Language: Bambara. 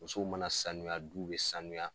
Musow mana sanuya du bɛ sanuya.